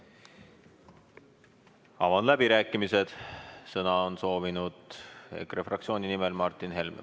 Avan läbirääkimised, sõna on soovinud EKRE fraktsiooni nimel Martin Helme.